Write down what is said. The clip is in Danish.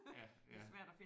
Ja ja